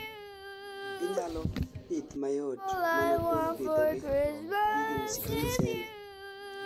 ginyalo pith mayot mana kuom pidho gi, gi michele